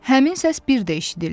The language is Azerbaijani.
Həmin səs bir də eşidildi.